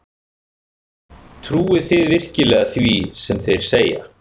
Trúi þið virkilega því sem þeir segja?